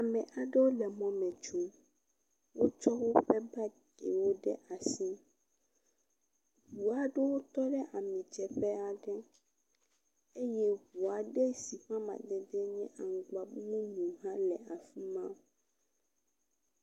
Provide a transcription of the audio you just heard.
Ame aɖewo le mɔ me tso, wotsɔ woƒe bagiwo ɖe asi. Ʋu aɖewo tɔ ɖe amidzeƒe aɖe eye ʋu aɖe si ƒe amadede nye aŋgbamumu hã le afima.